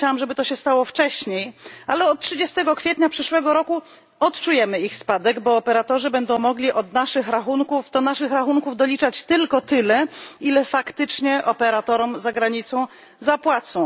Chciałam, żeby to się stało wcześniej, ale od 30 kwietnia przyszłego roku odczujemy ich spadek, bo operatorzy będą mogli do naszych rachunków doliczać tylko tyle, ile faktycznie operatorom za granicą zapłacą.